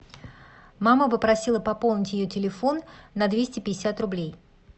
мама попросила пополнить ее телефон на двести пятьдесят рублей